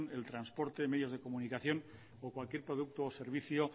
el transporte medios de comunicación o cualquier producto o servicio